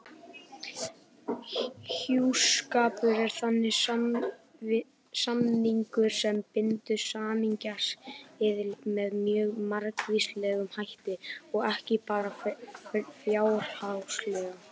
Hjúskapur er þannig samningur sem bindur samningsaðila með mjög margvíslegum hætti og ekki bara fjárhagslega.